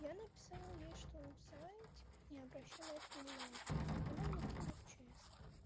я написала ей что зай типа не обращай на это внимание она меня кинула в чёрный список